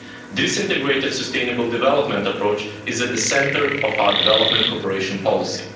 This integrated sustainable development approach is at the centre of our development cooperation policy.